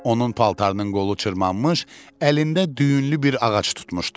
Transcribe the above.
Onun paltarının qolu çırmanmış, əlində düyünlü bir ağac tutmuşdu.